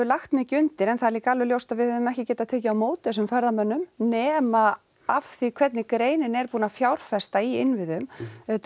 lagt mikið undir en það er líka alveg ljóst að við hefðum ekki getað tekið á móti þessum ferðamönnum nema af því hvernig greinin er búin að fjárfesta í innviðum auðvitað